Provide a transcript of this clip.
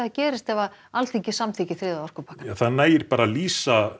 gerst ef Alþingi samþykkir þriðja orkupakkann nægir að lesa